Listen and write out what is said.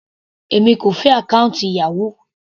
Èmi kò fẹ́ àkọ́ùntì Yahoo.